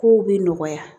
Kow be nɔgɔya